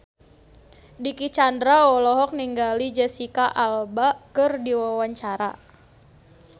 Dicky Chandra olohok ningali Jesicca Alba keur diwawancara